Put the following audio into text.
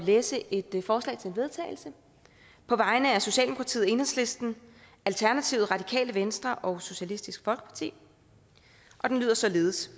læse et forslag til vedtagelse på vegne af socialdemokratiet enhedslisten alternativet radikale venstre og socialistisk folkeparti og det lyder således